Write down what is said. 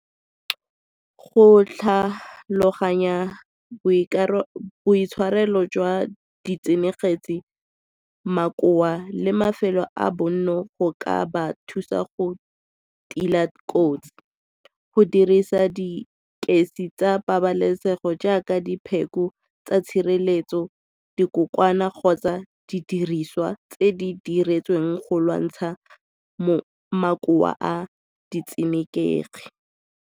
Go tlhaloganya boitshwarelo jwa , makoa le mafelo a bonno go ka ba thusa go tiileng kotsi. Go dirisa ditekesi tsa pabalesego jaaka dipheko tsa tshireletso dikokoana kgotsa di diriswa tse di diretsweng go lwantsha makoa a ditshenekegi.